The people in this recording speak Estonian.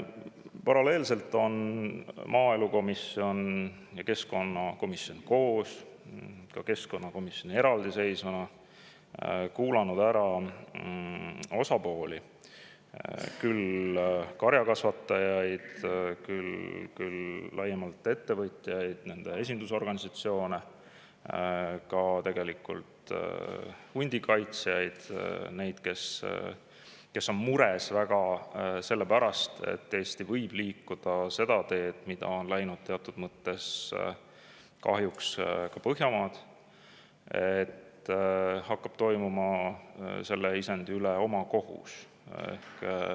Paralleelselt on maaelukomisjon ja keskkonnakomisjon koos, ka keskkonnakomisjon eraldi kuulanud ära osapooli – küll karjakasvatajaid, küll laiemalt ettevõtjaid ja nende esindusorganisatsioone, tegelikult ka hundikaitsjaid, neid, kes on väga mures selle pärast, et Eesti võib liikuda seda teed, mida teatud mõttes on kahjuks läinud ka Põhjamaad, et hakkab toimuma selle üle omakohus.